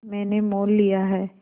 मैंने मोल लिया है